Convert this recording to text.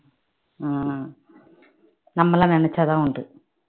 உம் நம்மல்லா நினைச்சாதான் உண்டு